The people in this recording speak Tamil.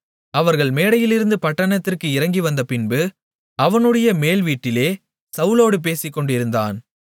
அவர்கள் மேடையிலிருந்து பட்டணத்திற்கு இறங்கிவந்தபின்பு அவனுடைய மேல்வீட்டிலே சவுலோடு பேசிக்கொண்டிருந்தான்